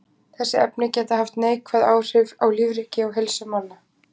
Þessi efni geta haft neikvæð áhrif á lífríki og heilsu manna.